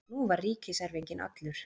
Nú var ríkiserfinginn allur.